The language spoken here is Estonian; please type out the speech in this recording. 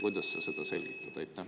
Kuidas sa seda selgitad?